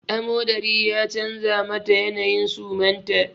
Amodari ya canza mata yanayin suman ta